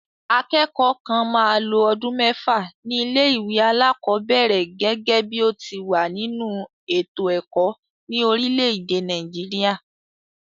Akẹ́kọ̀ọ́ kan máa lo ọdún mẹ́fà ní ilé-ìwé alákọ̀ọ́bẹ̀ẹ̀rẹ̀ gẹ́gẹ́ bí ó ti wà nínú ètò ẹ̀kọ́ ní orílẹ̀-èdè Nàìjíríà.